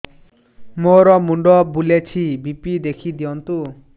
ମୋର ମୁଣ୍ଡ ବୁଲେଛି ବି.ପି ଦେଖି ଦିଅନ୍ତୁ